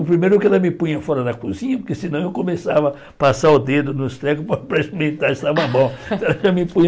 O primeiro que ela me punha fora da cozinha, porque senão eu começava a passar o dedo nos trecos para experimentar, ver estava bom.